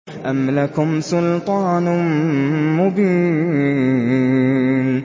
أَمْ لَكُمْ سُلْطَانٌ مُّبِينٌ